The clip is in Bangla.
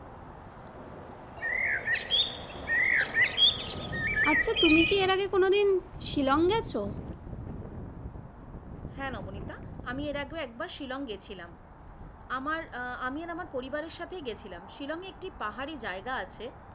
আচ্ছা তুমি কি এর আগে কোনদিন শিলং গেছো? হ্যাঁ নবনীতা আমি এর আগেও একবার শিলং গিয়েছিলাম। আমার আমি আর আমার পরিবারের সাথে গিয়েছিলাম শিলংয়ে একটি পাহাড়ী জায়গা আছে,